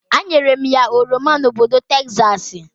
A nyere m ya oroma na obodo Tekzaksi.